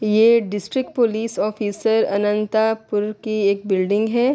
یہ district police office Anantapur کی ایک بلڈنگ ہے۔